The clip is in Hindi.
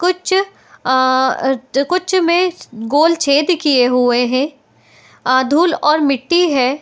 कुछ आ कुछ में गोल छेद किये हुए हैं | आ धुल और मिट्टी है |